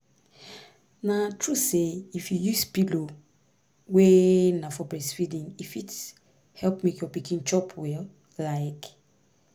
na true say if you use pillow wey na for breastfeeding e fit help make your pikin chop well like